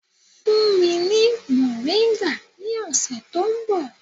Fún mi ní mòríńgà ní ọ̀sẹ̀ tó ń bọ̀.